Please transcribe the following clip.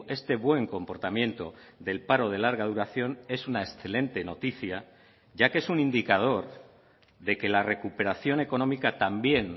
este buen comportamiento del paro de larga duración es una excelente noticia ya que es un indicador de que la recuperación económica también